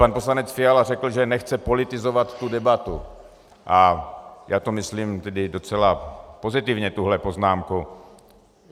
Pan poslanec Fiala řekl, že nechce politizovat tu debatu, a já to myslím tedy docela pozitivně, tuhle poznámku.